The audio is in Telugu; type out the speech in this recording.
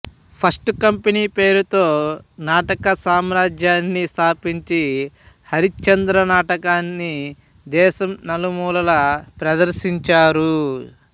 ఫస్ట్ కంపెనీ పేరుతో నాటక సమాజాన్ని స్థాపించి హరిశ్చంద్ర నాటకాన్ని దేశం నలుమూలలా ప్రదర్శించారు